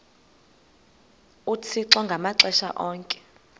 uthixo ngamaxesha onke